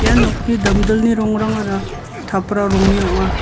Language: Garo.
ia nokni damdilni rongrangara tapra rongni ong·a.